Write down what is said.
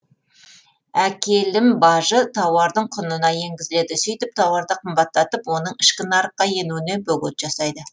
әкелім бажы тауардың құнына енгізіледі сөйтіп тауарды қымбаттатып оның ішкі нарыққа енуіне бөгет жасайды